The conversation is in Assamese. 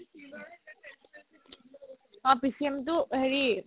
অ PCM টো হেৰি